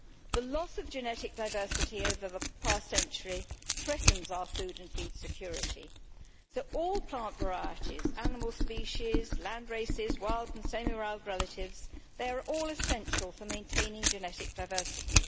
The loss of genetic diversity over the past century threatens our food and feed security, so all plant varieties, animal species, land races, wild and semi wild relatives, they are all essential for maintaining genetic diversity.